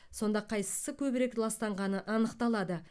сонда қайсысы көбірек ластағаны анықталады